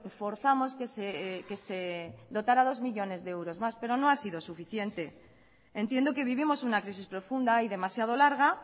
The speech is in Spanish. forzamos que se dotara dos millónes de euros más pero no ha sido suficiente entiendo que vivimos una crisis profunda y demasiado larga